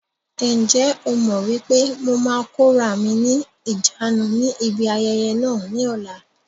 Ǹjẹ́ o mọ wípé mo máa kóra mi ni ìjánu ni ibi ayẹyẹ náà ni ọ̀la?